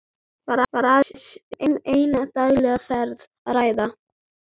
Var aðeins um eina daglega ferð að ræða.